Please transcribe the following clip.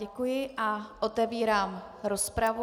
Děkuji a otevírám rozpravu.